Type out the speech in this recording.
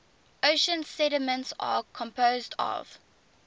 ocean sediments are composed of